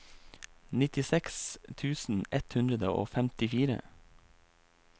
nittiseks tusen ett hundre og femtifire